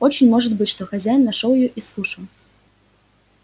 очень может быть что хозяин нашёл её и скушал